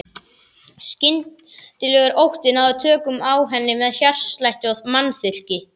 Skyndilegur ótti náði tökum á henni með hjartslætti og munnþurrki.